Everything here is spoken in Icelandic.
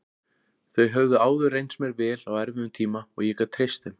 Þau höfðu áður reynst mér vel á erfiðum tíma og ég gat treyst þeim.